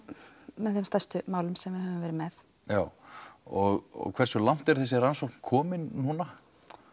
með þeim stærstu málum sem við höfum verið með já og hversu langt er þessi rannsókn komin núna